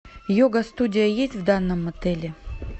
йога студия есть в данном отеле